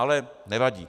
Ale nevadí.